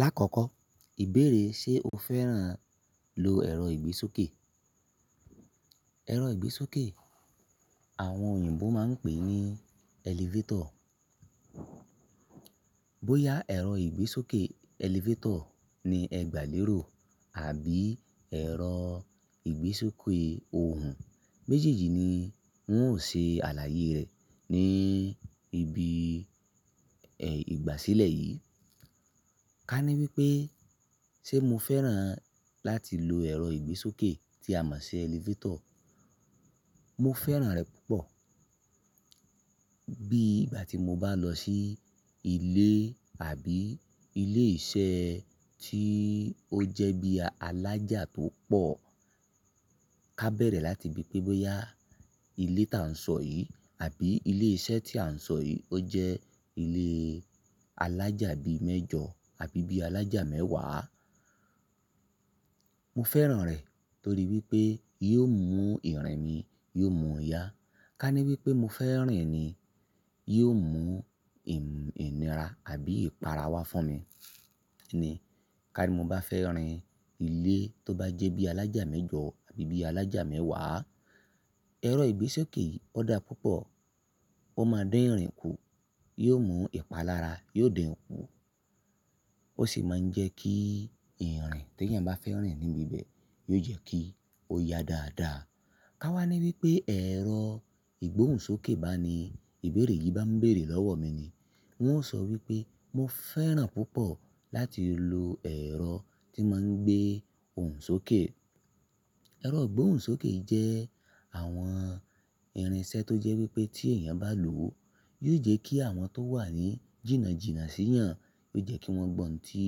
Lákòókò, ìbéèrè ṣe o fẹ́ràn lo ẹ̀rọ ìgbésókè? Ẹ̀rọ ìgbésókè àwọn òyìnbó máa ń pè ní elevator. Bóyá ẹ̀rọ ìgbésókè elevator ni ẹ gbà lérò àbí ẹ̀rọ ìgbésókè ohùn, méjèèjì ni wọn ó ṣe àlàyé rẹ̀ ní ibi ìgbàsílẹ̀ yìí. Ká ní wípé ṣe mo fẹ́ràn láti lo ẹ̀rọ ìgbésókè tí a mọ̀ sí elevator? Mo fẹ́ràn rẹ̀ púpọ̀. Bí ìgbà tí mo bá lọ sí ilé àbí ilé iṣẹ́ tí ó jẹ́ bí alájà tó pọ̀, ká bẹ̀rẹ̀ láti bi pé bóyá ilé tá n sọ yìí àbí ilé iṣẹ́ tí à ń sọ yìí ó jẹ́ ilé alájà bi mẹ́jọ àbí bí alájà mẹ́wàá. Mo fẹ́ràn rẹ̀ torí wípé yóò mú ìrìn mi, yóò mú yá. Ká ní wípé mo fẹ́ rìn ni, yóò mú ìn inira àbí ìpara wá fún mi ni. Ká ní mo bá fẹ́ rìn ilé tó bá jẹ́ bí alájà mẹ́jọ àbí bí alájà mẹ́wàá, ẹ̀rọ ìgbésókè yìí ó dá púpọ̀. Ó máa dín ìrìn kù, yóò mú ìpalára, yóò dinkú. Ó sì máa ń jẹ́ kí ìrìn tí èèyàn bá fẹ́ rìn níbi bẹ́ẹ̀ yóò jẹ́ kí ó yá dáadáa. Ká wá ní wípé ẹ̀rọ ìgbóhùnsókè bá ni ìbéèrè yìí bá ń bèèrè lọ́wọ́ mi ni, wọn ó sọ wípé mo fẹ́ràn púpọ̀ láti lo ẹ̀rọ tí máa ń gbé òhùnsókè. Ẹ̀rọ ìgbóhùnsókè yii jẹ́ àwọn ìrìnṣẹ́ tó jẹ́ wípé tí èèyàn bá lò ó, yóò jẹ́ kí àwọn tó wà ní jìnnà jìnnà sí ìyàn, yóò jẹ́ kí wọ́n gbọ́ ohun tí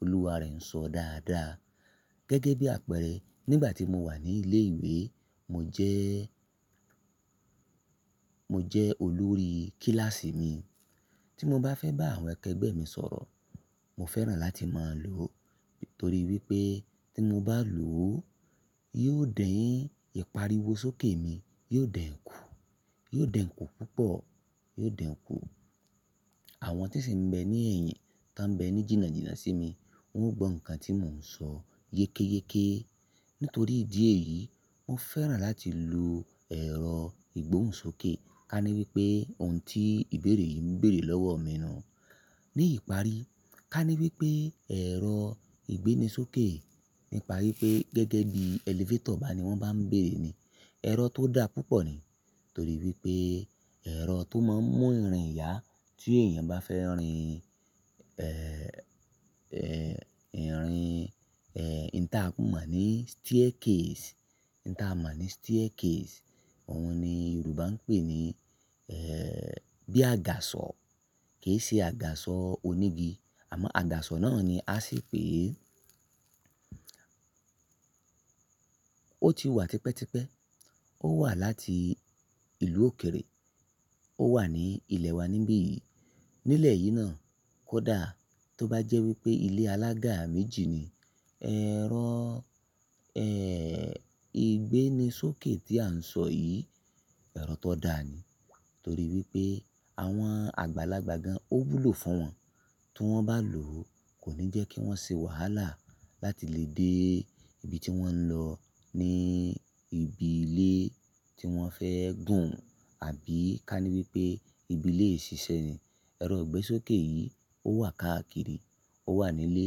olúwa rẹ̀ ń sọ dáadáa. Gẹ́gẹ́ bí àpẹẹrẹ, nígbà tí mo wà ní ilé ìwé, mo jẹ́, mo jẹ́ olórí kílàsì mi. Tí mo bá fẹ́ bá àwọn akẹgbẹ́ mi sọ̀rọ̀, mo fẹ́ràn láti máa lò ó. Nítorí wípé tí mo bá lò ó, yóò din ìparíwọ sókè mi, yóò dinkú, yóò dinkú púpọ̀, yóò dinkú. Àwọn tí sì ń bẹ ní ẹ̀yìn tá ń bẹ ní jìnnà jìnnà sí mi, wọn ó gbọ́ nǹkan tí mò ń sọ yekéé-yekèé. Nítorí ìdí èyí, mo fẹ́ràn láti lo ẹ̀rọ ìgbóhùnsókè. Ká ní wípé ohun tí ìbéèrè yìí ń bèèrè lọ́wọ́ mi nu. Ní ìparí, ká ní wípé ẹ̀rọ ìgbénisókè, nípa wípé gẹ́gẹ́ bí elevator bá ni wọ́n bá ń bèèrè ni, ẹ̀rọ tó dá púpọ̀ ni. Torí wípé ẹ̀rọ tó máa ń mú ìrìn yá tí èèyàn bá fẹ́ rìn, ìrìn, in tí a mọ̀ ní staircase, in ń ta a mọ̀ ní staircase. Àwọn ni Yorùbá ń pè ní, bí àgàsọ̀. Kì í ṣe àgàsọ̀ onígi, àmọ́ àgàsọ̀ náà ni a sì pè é. Ó ti wà tipẹ́tipẹ́. Ó wà láti ìlú òkèèrè. Ó wà ní ilẹ̀ wa níbí yìí. Nílẹ̀ yìí náà, kódà tó bá jẹ́ wípé ilé alága méjì ni, ẹ̀rọ, ìgbénisókè tí à ń sọ yìí, ẹ̀rọ tó dá ni. Torí wípé àwọn àgbàlagbà gan, ó wúlò fún wọn. Tí wọ́n bá lò ó, kò ní jẹ́ kí wọ́n ṣe wàhálà láti lè dé ibi tí wọ́n ń lọ ní ibi ilé tí wọ́n fẹ́ gùn, àbí ká ní wípé ibi ilé ìṣiṣẹ́ ni. Ẹ̀rọ ìgbésókè yìí ó wà káàkiri. Ó wà ní ilé,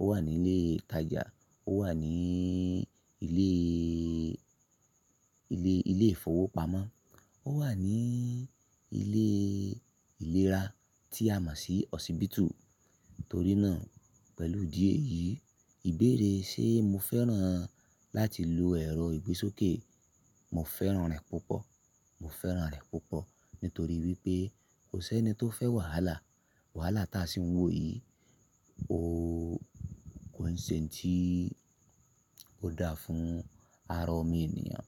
ó wà ní ilé ìtajà, ó wà ní ilé, ilé ìfowópamọ́. Ó wà ní ilé ìlera tí a mọ̀ sí hospital. Nítorí náà pẹ̀lú ìdí èyí, ìbéèrè ṣe mo fẹ́ràn láti lo ẹ̀rọ ìgbésókè? Mo fẹ́ràn rẹ̀ púpọ̀. Mo fẹ́ràn rẹ̀ púpọ̀. Nítorí wípé kò sẹ́ni tó fẹ́ wàhálà. Wàhálà táa sì ń wò yìí, ó kò ń ṣe ohun tí ó dáa fún ara ọmọ ènìyàn.